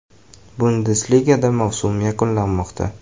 Bundesligada mavsum yakunlanmoqda.